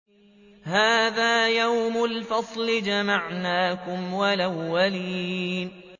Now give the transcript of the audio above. هَٰذَا يَوْمُ الْفَصْلِ ۖ جَمَعْنَاكُمْ وَالْأَوَّلِينَ